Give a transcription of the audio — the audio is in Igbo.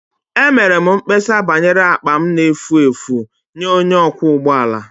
Emere m mkpesa banyere akpa m na-efu efu nye onye ọkwọ ụgbọ ala